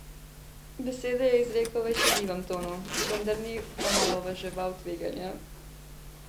Besede je izrekel v šaljivem tonu, vendar ni omalovaževal tveganja.